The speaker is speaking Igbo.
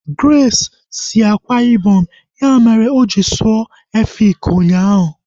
Grace si Akwa Ibom, ya mere oji sụọ Efik ụnyaahụ